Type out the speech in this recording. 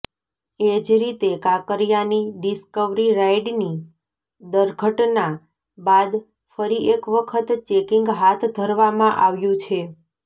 એજ રીતે કાંકરીયાની ડિસ્કવરી રાઇડની દર્ઘટના બાદ ફરી એક વખત ચેકિંગ હાથ ધરવામાં આવ્યું છે